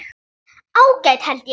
Ágætt held ég.